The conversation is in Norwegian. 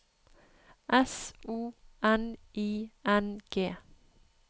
S O N I N G